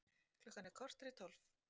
Klukkan korter í tólf